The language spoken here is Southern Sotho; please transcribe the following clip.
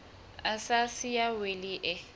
a sa siya wili e